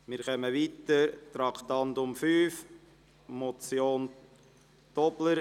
Wir fahren weiter mit dem Traktandum 5, der Motion Tobler.